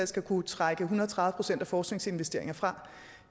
skal kunne trække en hundrede og tredive procent af forskningsinvesteringer fra og